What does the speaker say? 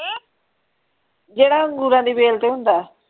ਜਿਹੜਾ ਅੰਗੂਰਾਂ ਦੀ ਬੇਲ ਤੇ ਹੁੰਦਾ।